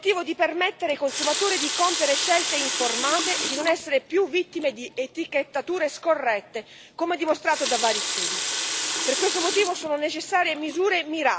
Engström va in questa direzione, con l'obiettivo di permettere ai consumatori di compiere scelte informate e di non essere più vittime di etichettature scorrette, come dimostrato da vari studi.